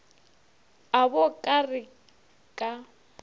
a bo ka re ka